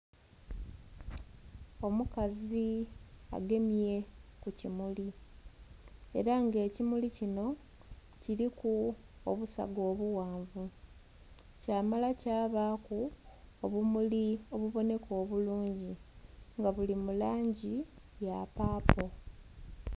Omukazi agemye ku kimuli era nga ekimuli kinho kiliku obusaga obughanvu kyamala kyabaku obumuli obubonheka obulungi nga buli mulangi ya paapo.